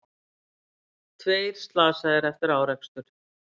Tveir slasaðir eftir árekstur